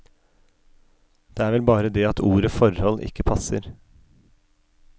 Det er vel bare det at ordet forhold ikke passer.